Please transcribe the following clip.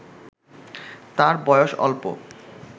তার বয়স অল্প